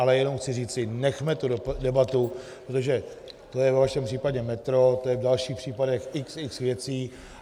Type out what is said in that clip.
Ale jenom chci říci, nechme tu debatu, protože to je ve vašem případě metro, to je v dalších případech x, x věcí.